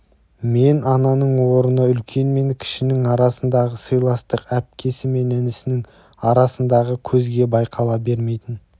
мен ананың орны үлкен мен кішінің арасындағы сыйластық әпкесі мен інісінің арасындағы көзге байқала бермейтін